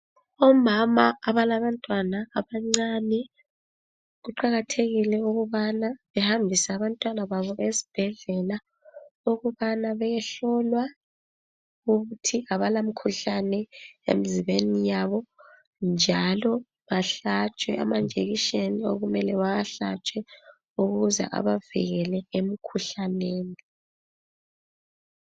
Omama abalabantwana abancane. Kuqakathekile ukubana behambise abantwanababo esibhedlela, ukubana bayehlolwa ukuthi kabalamikhuhlane emzimbeni yabo. Njalo bahlatshwe amanjekisheni , okumele bawahlatshwe, ukuze abavikele emkhuhlaneni.